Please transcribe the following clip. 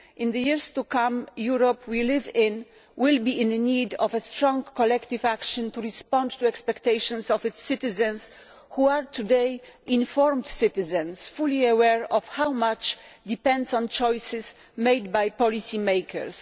In years to come, the Europe we live in will be in need of strong collective action to respond to the expectations of its citizens, who are today informed citizens, fully aware of how much depends on choices made by policy makers.